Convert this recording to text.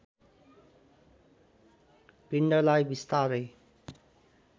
पिण्डलाई बिस्तारै